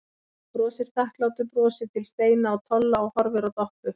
Hann brosir þakklátu brosi til Steina og Tolla og horfir á Doppu.